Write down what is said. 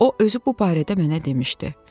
O, özü bu barədə mənə demişdi.